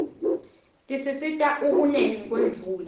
tisisita ukuneni kwemvula